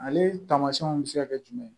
Ale taamasiyɛnw bɛ se ka kɛ jumɛn ye